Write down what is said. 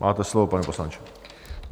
Máte slovo, pane poslanče.